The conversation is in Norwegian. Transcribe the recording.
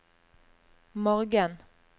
morgen